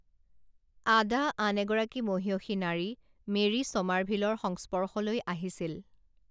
আডা আন এগৰাকী মহিয়সী নাৰী মেৰী ছমাৰভিলৰ সংস্পৰ্শলৈ আহিছিল